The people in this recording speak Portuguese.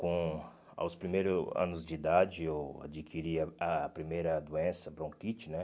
Com ah os primeiros anos de idade, eu adquiri a primeira doença, bronquite, né?